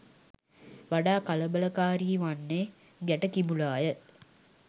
වඩා කලබලකාරී වන්නේ ගැට කිඹුලාය.